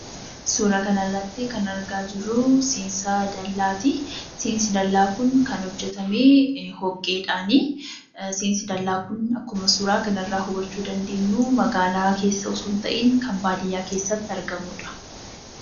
Suura kana irratti kan argaa jirruu, seensa dallaati. Seensi dallaa Kun kan hojjetamee dhoqeedhaanii. Seensi dallaa Kun akkuma suura kana irraa hubachuu dandeenyu, magaalaa keessa osoo hin ta'iin kan baadiyyaa keessatti argamuudha.